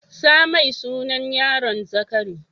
Sa mai sunan yaron Zakari.